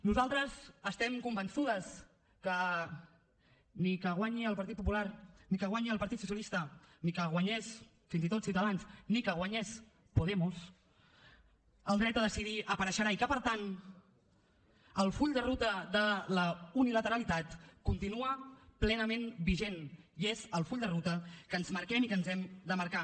nosaltres estem convençudes que ni que guanyi el partit popular ni que guanyi el partit socialista ni que guanyés fins i tot ciutadans ni que guanyés podemos el dret a decidir apareixerà i que per tant el full de ruta de la unilateralitat continua plenament vigent i és el full de ruta que ens marquem i que ens hem de marcar